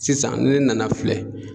Sisan ni ne nana filɛ